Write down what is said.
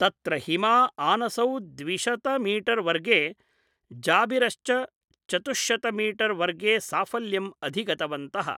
तत्र हिमा आनसौ द्विशतमीटर् वर्गे, जाबिरश्च चतुश्शतमीटर्वर्गे साफल्यम् अधिगन्तवन्तः।